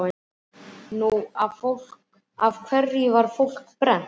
Nú, af hverju var fólk brennt?